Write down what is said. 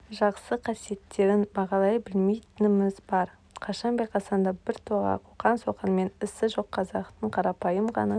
жақсы қасиеттерін бағалай білмейтініміз бар қашан байқасаң да біртоға қоқаң-соқаңмен ісі жоқ қазақтың қарапайым ғана